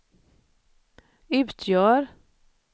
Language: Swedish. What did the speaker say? utgör